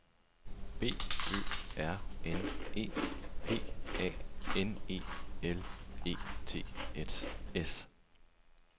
B Ø R N E P A N E L E T S